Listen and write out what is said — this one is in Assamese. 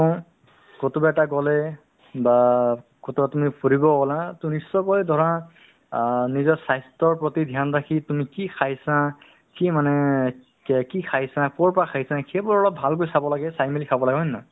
নে নহয় সেইটো তুমি অ actually ওব অ গম পাবা বা তুমি শুনিছা তুমি মেজৰ সেইকাৰণে মই তোমাক কৈ আছো তুমি medical ৰ পৰা এইটো already বা district ৰ পৰা বা তেনেকে state ৰ level ৰ পৰা stand up হৈ অ training ও দিয়া হয়